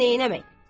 Amma neyləmək?